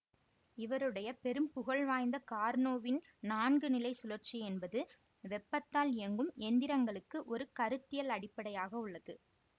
இவருடைய பெரும் புகழ் வாய்ந்த கார்னோவின் நான்குநிலைசுழற்சி என்பது வெப்பத்தால் இயங்கும் எந்திரங்களுக்கு ஒரு கருத்தியல் அடிப்படையாக உள்ளது